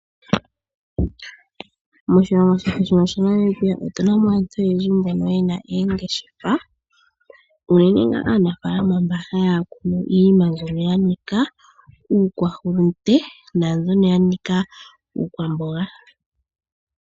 Moshilongo shetu shaNamibia otuna mo aantu oyendji mbono yena oongeshefa, unene nga aanafaalama mbono haya kunu iinima mbyono yanika uukwahulunde naambyono yanika uukwaulunde.